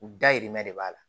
U dayirimɛ de b'a la